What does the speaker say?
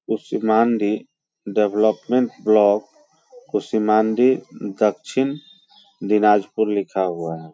Kushmandi development block Kushmandi दक्षिण दिनाजपुर लिखा हुआ है।